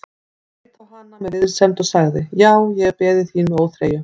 Hann leit á hann með vinsemd og sagði:-Já, ég hef beðið þín með óþreyju.